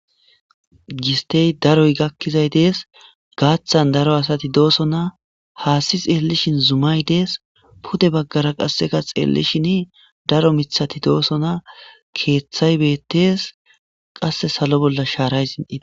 gistey daroy gakkizay dees gaaththan daro asati dooso na haasi xeelishin zumay dees pute baggara qasseka xeellishin daro mithati dooso na keeththay bettees qasse salo bolla shaaray sin7ie